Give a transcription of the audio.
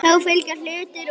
Þá fylgja hlutir úr jörðum.